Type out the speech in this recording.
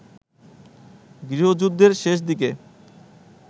গৃহযুদ্ধের শেষদিকে